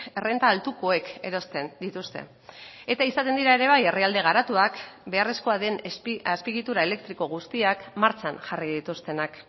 errenta altukoek erosten dituzte eta izaten dira ere bai herrialde garatuak beharrezkoa den azpiegitura elektriko guztiak martxan jarri dituztenak